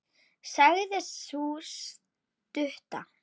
sagði sú stutta.